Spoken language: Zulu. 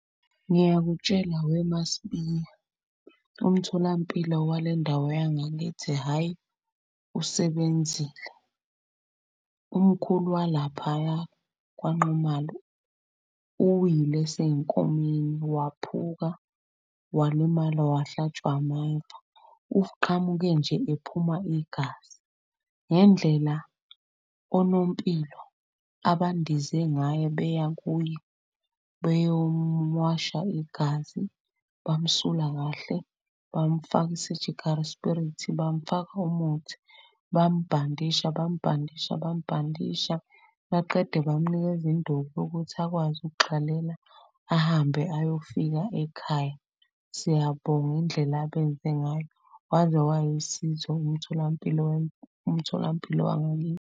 Ngiyakutshela weMaSibiya umtholampilo walendawo yangithi, hhayi usebenzile. Umkhulu walaphaya kwaNxumalo uwile esey'nkomeni waphuka, walimala, wahlatshwa ameva. Nje ephuma igazi ngendlela onompilo abandize ngayo beya kuye beyomuwasha igazi bamsulwa kahle, bamufaka i-surgical spirit. Bamfaka umuthi, bambhandisha, bambhandisha, bambhandisha. Baqede bamnikeza induku ukuthi akwazi ukugxalela ahambe ayofika ekhaya. Siyabonga indlela abenze ngayo waze wayisizo umtholampilo .